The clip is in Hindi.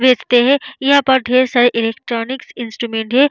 देखते है यहाँ पर ढेर सारे इलेक्ट्रॉनिक इंस्ट्रूमेंट है।